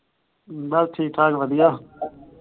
ਬਸ ਠੀਕ ਠਾਕ ਵਧੀਆਂ